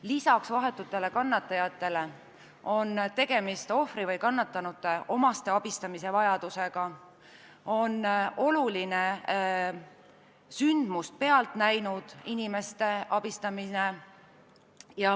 Lisaks vahetutele kannatajatele vajavad abi ka ohvri või kannatanute omaksed ja ehk ka juhtunut pealt näinud inimesed.